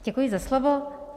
Děkuji za slovo.